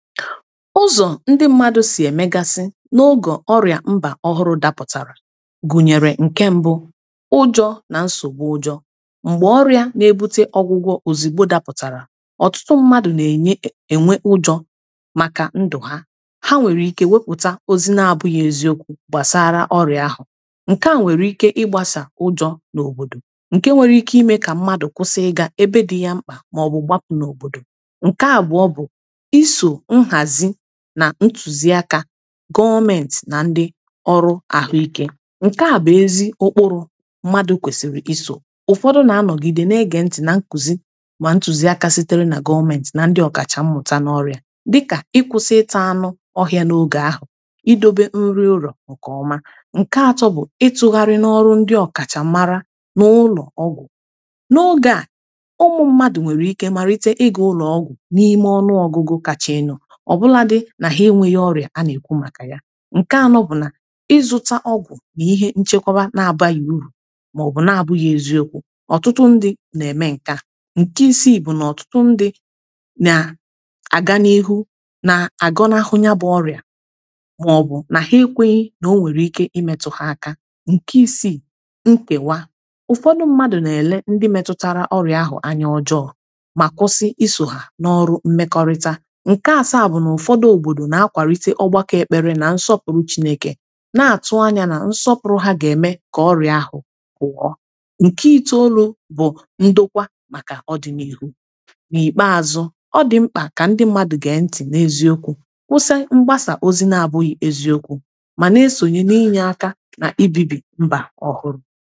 ụzọ ndị mmadụ sị emegasị n’ụgọ ọrịa mba ọhụrụ dapụtara gụnyere nke mbụ ụjọ na nsogbu ụjọ mgbe ọrịa na-ebute ọgwụgwọ ozigbo dapụtara ọtụtụ mmadụ na-enye enwe ụjọ maka ndụ ha ha nwere ike wepụta ozi n’abụghị eziokwu gbasara ọrịa ahụ nke a nwere ike ịgbasa ụjọ n’obodo nke nwere ike ime ka mmadụ kwụsị ịga ebe dị ya mkpa maọbụ gbapụ n’obodo nke a bụ ọ bụ nhazi na ntuziaka gọọmenti na ndị ọrụ ahụike nke a bụ ezi okporo mmadụ kwesiri iso ụfọdụ na-anọgide na-ege ntị na nkuzi ma ntuziaka sitere na gọọmenti na ndị ọkacham mmụta n’ọrịa dịka ịkwụsị ịta anụ ọhịa n’oge ahụ idobe nri ụrọ nke ọma nke atọ bụ ịtụgharị n’ọrụ ndị ọkacham mara n’ụlọ ọgwụ n’oge a ụmụ mmadụ nwere ike marite ịga ụlọ ọgwụ na ime ọnụ ọgụgụ kacha enyo ọbụladị na ha enweghị ọrịa a na-ekwu maka ya nke anọ bụ na ịzụta ọgwụ na ihe nchekwaba n’abaghị uru ma ọ bụ n’abụghị eziokwu ọtụtụ ndị na-eme nka nke isi i bụ na ọtụtụ ndị na-aga n’ihu na-agọnahụ nya bụ ọrịa ma ọ bụ na ha ekweghi na o nwere ike imetụha aka nke isi i nkewa ụfọdụ mmadụ na-ele ndị metụtara ọrịa ahụ anya ọjọọ ma kwụsi iso ha na ọrụ mmekọrịta n’akwàlite ọgbakọ ekpere nà nsọpụ̀rụ̀ chinèkè nà-àtụ anyȧ nà nsọpụ̀rụ̀ ha ga-eme kà ọrị̀a ahụ̀ kụọ nke iteolu̇ bụ̀ ndokwa màkà ọdị̀ n’ihu n’ikpeazụ̇ ọdị̀ mkpà kà ndị mmadụ̀ gee ntị̀ n’eziokwu̇ kwụsị mgbasà ozi̇ n’abụghị̀ eziokwu̇ mà n’esònye n’inye aka nà ibibi mbà ọhụrụ̇